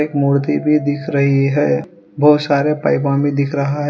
मूर्ति भी दिख रही है बहुत सारे पैगामी दिख रहा है।